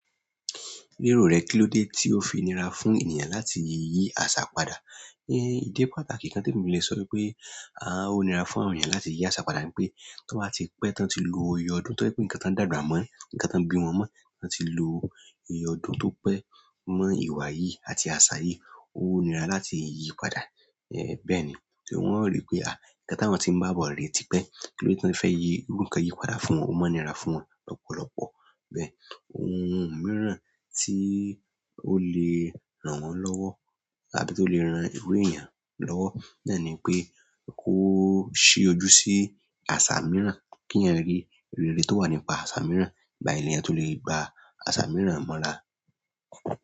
Lérò rẹ, kílódé tí ó fi nira fún ènìyàn láti yí àṣà padà? Ẹ idi pàtàkì kan tí mí le sọ wipé, àá ó nira fún àwọn ènìyàn láti yí àṣà padà ni pé, tí wọ́n bá ti pẹ́, tí wọ́n ti lo iyè ọdún, tí wọ́n rí pé ǹkan tí ń dàgbà mọ́ ǹkan tí wọ́n bí wọ́n mọ́, tí wọ́n ti lo iyè ọdún tó pẹ́ mọ́ ìwà yìí àti àṣà yìí, ó nira láti yí padà. Ẹ bẹ́ẹ̀ni torí wọn ò ri pe a ǹkan tí àwọn tí ń bá àbọ̀ re ti pẹ́ kilode ti wọn fẹ yí ǹkan yìí padà fún wọn ò màá nira lọ́pọ̀lọpọ̀ bẹ́ẹ̀, ohun mìíràn tí ó lè ràn wọ́n lọ́wọ́ àbí tó lè ran irú èèyàn lọ́wọ́ náà ni pé, kó ṣí ojú sí àṣà mìíràn, kí èèyàn rí ìrírí tó wà nípa àṣà mìíràn, ìgbà yẹn lè èèyàn tó lè gba àṣà mìíràn mọ́ra.